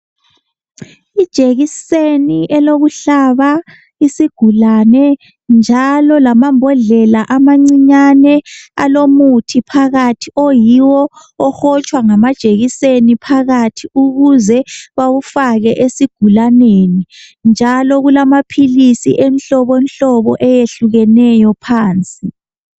Ijekiseni elokuhlaba isigulane njalo lamambodlela amancinyane alomuthi phakathi oyiwo ohotshwa ngamajekiseni phakathi ukuze bawufake esigulaneni njalo kulamaphilisi emhlobohlobo ehlukeneyo phansi.